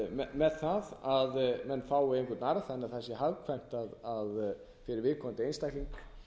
með það að menn fái einhvern arð þannig að það sé hagkvæmt fyrir viðkomandi einstakling